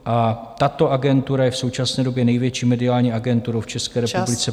A tato agentura je v současné době největší mediální agenturou v České republice .